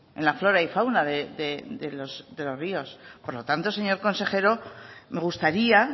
en la flora y fauna de los ríos por lo tanto señor consejero me gustaría